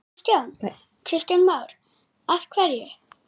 Kristján Már: Af hverju?